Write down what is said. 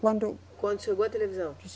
Quando. Quando chegou a televisão?